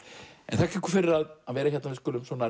þakka ykkur fyrir að vera hérna við skulum